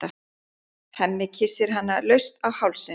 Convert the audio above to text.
Hemmi kyssir hana laust á hálsinn.